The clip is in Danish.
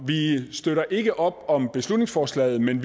vi støtter ikke op om beslutningsforslaget men